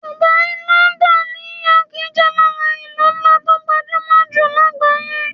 Dubai, london, New York City jẹ́ lára àwọn ìlú ńlá tó gbajúmọ̀ jù lágbàáyé